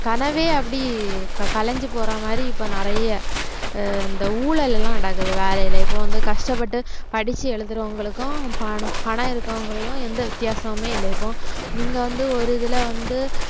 கனவே அப்படி இப்ப கலைஞ்சு போற மாதிரி இப்ப நிறைய அஹ் இந்த ஊழல் எல்லாம் நடக்குது வேலையில இப்ப வந்து கஷ்டப்பட்டு படிச்சு எழுதுறவங்களுக்கும் பண~ பணம் இருக்கிறவங்களுக்கும் எந்த வித்தியாசமுமே இல்லை இப்போ நீங்க வந்து ஒரு இதுல வந்து